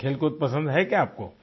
कुछ खेलकूद पसंद है क्या आपको